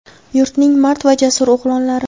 yurtning mard va jasur o‘g‘lonlari!.